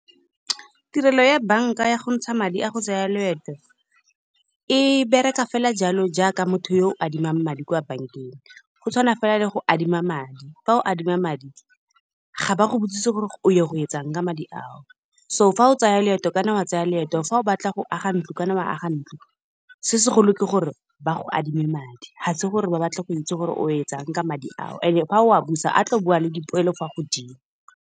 Tirelo ya bank-a ya go ntsha madi a go tsaya loeto, e bereka fela jalo jaaka motho yo adimang madi kwa bank-eng. Go tshwana fela le go adima madi, fa o adima madi ga ba go botse gore o ye go etsang ka madi ao. So fa o tsaya leeto o ka nna wa tsaya leeto fa o batla go aga ntlo, o ka nna wa aga ntlo. Se se golo ke gore ba go adime madi, ga se gore ba batle go itse gore o etsang ka madi ao, and-e ga o a busa a tlo boa le dipoelo fa godimo.